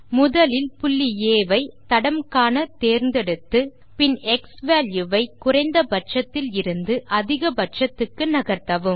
முதலில் புள்ளி ஆ வை தடம் காண தேர்ந்தெடுத்து பின் க்ஸ்வால்யூ வை குறைந்த பட்சத்தில் இருந்து அதிக பட்சத்துக்கு நகர்த்தவும்